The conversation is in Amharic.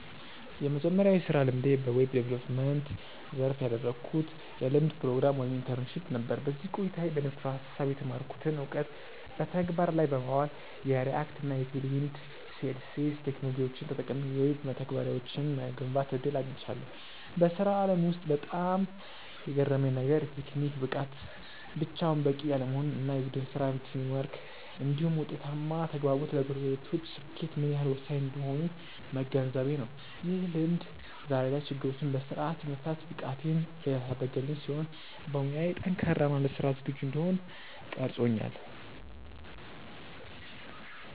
የመጀመሪያው የሥራ ልምዴ በዌብ ዲቨሎፕመንት (Web Development) ዘርፍ ያደረግኩት የልምምድ ፕሮግራም (Internship) ነበር። በዚህ ቆይታዬ በንድፈ-ሐሳብ የተማርኩትን እውቀት በተግባር ላይ በማዋል፣ የReact እና Tailwind CSS ቴክኖሎጂዎችን ተጠቅሜ የዌብ መተግበሪያዎችን የመገንባት ዕድል አግኝቻለሁ። በሥራው ዓለም ውስጥ በጣም የገረመኝ ነገር፣ የቴክኒክ ብቃት ብቻውን በቂ አለመሆኑ እና የቡድን ሥራ (Teamwork) እንዲሁም ውጤታማ ተግባቦት ለፕሮጀክቶች ስኬት ምን ያህል ወሳኝ እንደሆኑ መገንዘቤ ነው። ይህ ልምድ ዛሬ ላይ ችግሮችን በሥርዓት የመፍታት ብቃቴን ያሳደገልኝ ሲሆን፣ በሙያዬ ጠንካራ እና ለሥራ ዝግጁ እንድሆን ቀርጾኛል።